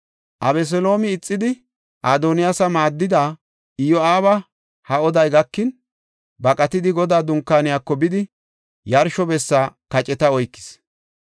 Abeseloome ixidi, Adoniyaasa maaddida Iyo7aaba ha oday gakin, baqatidi Godaa Dunkaaniyako bidi, yarsho bessa kaceta oykis.